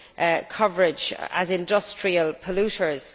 the coverage, as industrial polluters.